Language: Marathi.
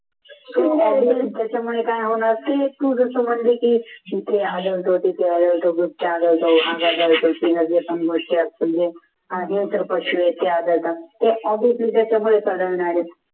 त्याच्यामुळे काय होणार की तुझं सो म्हणते की